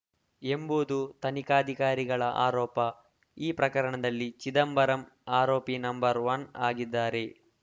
ಎಂಬುದು ತನಿಖಾಧಿಕಾರಿಗಳ ಆರೋಪ ಈ ಪ್ರಕರಣದಲ್ಲಿ ಚಿದಂಬರಂ ಆರೋಪಿ ನಂಬರ್ ಒನ್ ಆಗಿದ್ದಾರೆ